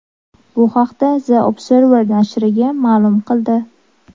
Bu haqda u The Observer nashriga ma’lum qildi .